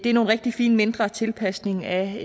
er nogle rigtig fine mindre tilpasninger af